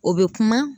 O bɛ kuma